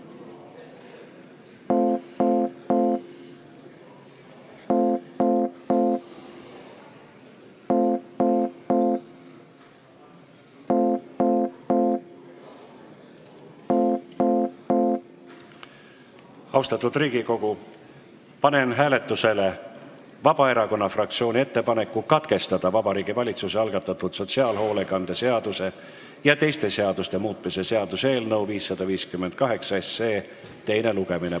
Austatud Riigikogu, panen hääletusele Vabaerakonna fraktsiooni ettepaneku katkestada Vabariigi Valitsuse algatatud sotsiaalhoolekande seaduse ja teiste seaduste muutmise seaduse eelnõu 558 teine lugemine.